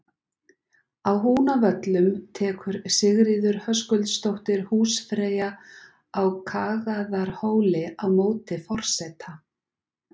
Á Húnavöllum tekur Sigríður Höskuldsdóttir húsfreyja á Kagaðarhóli á móti forseta.